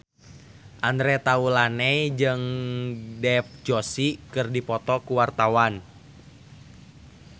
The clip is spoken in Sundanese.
Andre Taulany jeung Dev Joshi keur dipoto ku wartawan